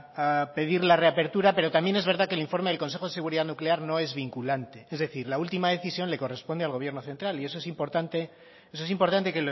a pedir la reapertura pero también es verdad que el informe del consejo de seguridad nuclear no es vinculante es decir la última decisión le corresponde al gobierno central y eso es importante